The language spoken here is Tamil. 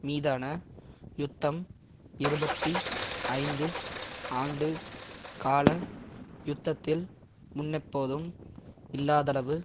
மீதான யுத்தம் இருபத்தி ஐந்து ஆண்டு கால யுத்தத்தில் முன்னெப்போதும் இல்லாதளவு